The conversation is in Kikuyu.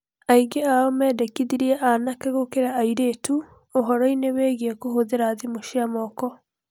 Aingĩ ao mendekithirie anake gũkĩra airĩtu ũhoro-ini wĩgiĩ kũhũthĩra thimũ cia moko.